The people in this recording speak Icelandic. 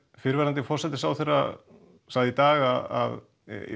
fyrrverandi forsætisráðherra sagði í dag að